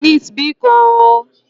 Chinese bikoǃ